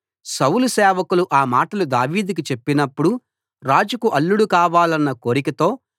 సౌలు సేవకులు ఆ మాటలు దావీదుకు చెప్పినప్పుడు రాజుకు అల్లుడు కావాలన్న కోరికతో